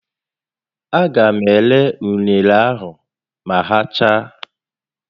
A ga m ere unere a ma ha chaa